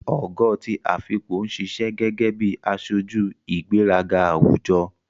Ogo ti Afikpo ń ṣiṣẹ́ gẹ́gẹ́ bí aṣojú ìgbéraga àwùjọ.